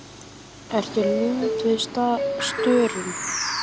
Ertu límd við staurinn?